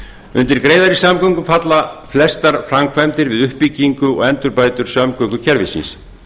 undir greiðari samgöngur falla flestar framkvæmdir við uppbygging og endurbætur samgöngukerfisins